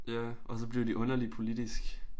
Ja og så blev de underligt politisk